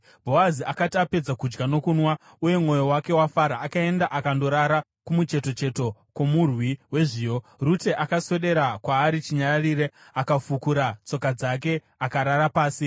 Bhoazi akati apedza kudya nokunwa uye mwoyo wake wafara, akaenda akandorara kumuchetocheto kwomurwi wezviyo. Rute akaswedera kwaari chinyararire, akafukura tsoka dzake akarara pasi.